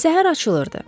Səhər açılırdı.